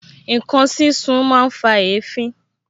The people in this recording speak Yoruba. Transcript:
Ǹkan sísun máa ń fa èéfín